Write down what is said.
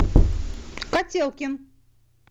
котелкин